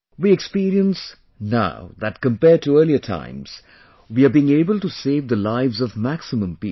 We experience now that compared to earlier times, we are being able to save the lives of maximum people